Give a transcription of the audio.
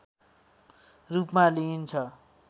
रूपमा लिइन्छ